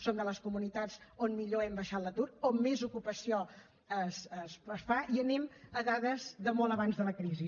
som de les comunitats on millor hem baixat l’atur on més ocupació es fa i anem a dades de molt abans de la crisi